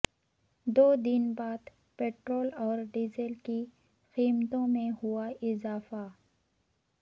دو دن بعد پٹرول اور ڈیزل کی قیمتوں میں ہوا اضافہ